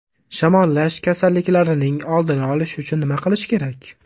Shamollash kasalliklarining oldini olish uchun nima qilish kerak?.